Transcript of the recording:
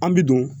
An bi don